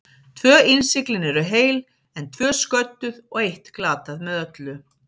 Tvö innsiglin eru heil, en tvö sködduð og eitt glatað með öllu.